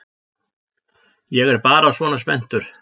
Ég er bara svona spenntur.